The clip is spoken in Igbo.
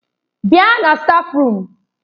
Bịa na stáfruum!